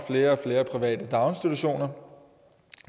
flere og flere private daginstitutioner